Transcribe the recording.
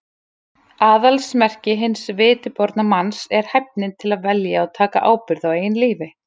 Aðalsmerki hins vitiborna manns er hæfnin til að velja og taka ábyrgð á eigin lífi.